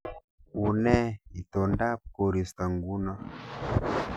Unee itondab koristo nguno